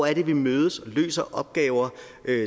er vi mødes og løser opgaver